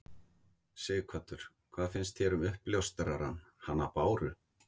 Sighvatur: Hvað finnst þér um uppljóstrarann, hana Báru?